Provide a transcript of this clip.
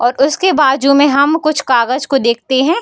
और उसके बाजु में हम कुछ कागज को देखते हैं।